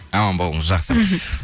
аман болыңыз жақсы мхм